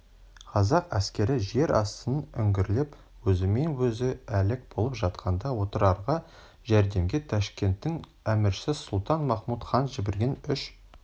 қазақ әскері жер астын үңгірлеп өзімен өзі әлек болып жатқанда отырарға жәрдемге ташкенттің әміршісі сұлтан-махмұд хан жіберген үш